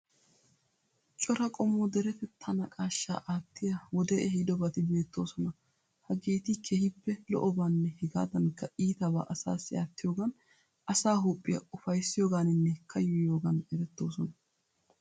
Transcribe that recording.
Cora qommo deretettaa naqaashshaa aattiya wodee ehiidobati beettoosona. Hageeti keehippe lo'obaanne hegaadankka iitabaa asaassi aattiyogaan asaa huuphiya ufayissiyogaaninne kayyoyiyoogan erettoosona.